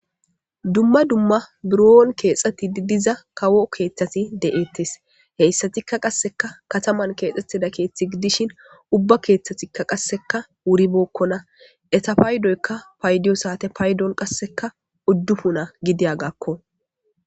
Dumma dumma biron kexxettitida dizza kawo keththathi de'ettes. Heyssettika qasekka kataman kexxettida keththi gidishin ubba keththatti qasekka wuribokkonna .eta paydoykka payddiyo saate payddoy qasekka udufunna gidiyogga.